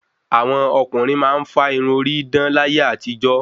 Àwọn ọkùnrin máa ń fá Irun orí dán láyé àtijọ́